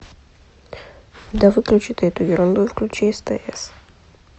да выключи ты эту ерунду и включи стс